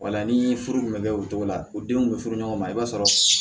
Wala ni furu tun bɛ kɛ o cogo la u denw bɛ furu ɲɔgɔn ma i b'a sɔrɔ